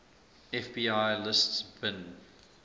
fbi lists bin